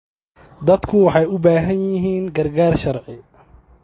Dadku waxay u baahan yihiin gargaar sharci.